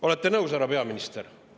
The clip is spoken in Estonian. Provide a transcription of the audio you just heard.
Olete nõus, härra peaminister?